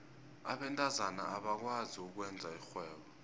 abentazana abakwazi ukwenza irhwebo